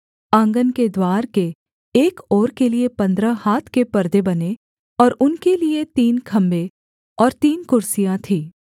आँगन के द्वार के एक ओर के लिये पन्द्रह हाथ के पर्दे बने और उनके लिये तीन खम्भे और तीन कुर्सियाँ थीं